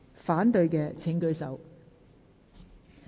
反對的請舉手。